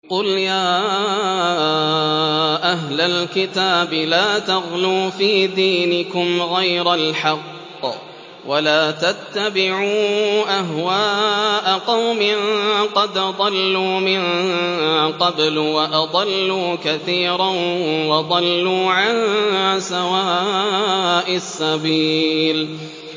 قُلْ يَا أَهْلَ الْكِتَابِ لَا تَغْلُوا فِي دِينِكُمْ غَيْرَ الْحَقِّ وَلَا تَتَّبِعُوا أَهْوَاءَ قَوْمٍ قَدْ ضَلُّوا مِن قَبْلُ وَأَضَلُّوا كَثِيرًا وَضَلُّوا عَن سَوَاءِ السَّبِيلِ